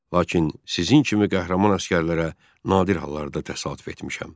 Lakin sizin kimi qəhrəman əsgərlərə nadir hallarda təsadüf etmişəm.